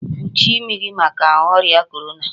kpuchie imi gi maka oria Korona